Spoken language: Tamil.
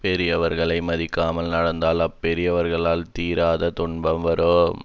பெரியவர்களை மதிக்காமல் நடந்தால் அப்பெரியவர்களால் தீராத துன்பம் வரும்